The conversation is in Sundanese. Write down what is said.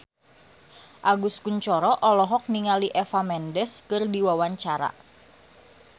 Agus Kuncoro olohok ningali Eva Mendes keur diwawancara